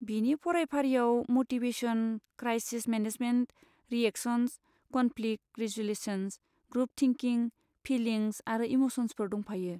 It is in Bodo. बिनि फरायफारिआव motivation, crisis management, reactions, conflict resolutions, group thinking, feelings आरो इम'सन्सफोर दंफायो।